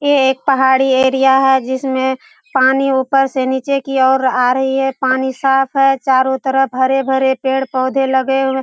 ये एक पहाड़ी एरिया है जिसमें पानी ऊपर से नीचे की ओर आ रही है पानी साफ है चारों तरफ हरे-भरे पेड़-पौधे लगे हुए।